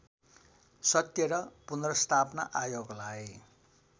सत्य र पुनर्स्थापना आयोगलाई